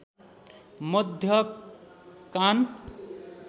मध्य कान